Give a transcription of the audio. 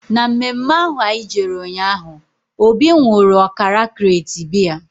Na mme mme ahụ anyị jere ụnyaahụ, Obi nwụrụ ọkara krate biya